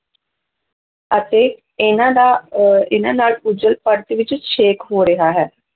ਅਤੇ ਇਹਨਾਂ ਦਾ ਔਰ ਇਹਨਾਂ ਨਾਲ ਓਜੋਨ ਪਰਤ ਵਿੱਚ ਛੇਕ ਹੋ ਰਿਹਾ ਹੈ।